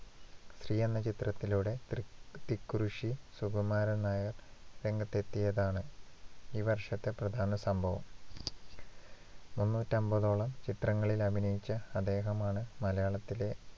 സ്ത്രീ എന്ന ചിത്രത്തിലൂടെ തൃക് തിക്കുറിശ്ശി സുകുമാരൻ നായർ രംഗത്തെത്തിയതാണ് ഈ വർഷത്തെ പ്രധാന സംഭവം മുന്നൂറ്റി അമ്പതോളം ചിത്രങ്ങളിൽ അഭിനയിച്ച അദ്ദേഹമാണ് മലയാളത്തിലെ